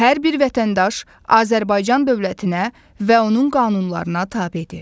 Hər bir vətəndaş Azərbaycan dövlətinə və onun qanunlarına tabedir.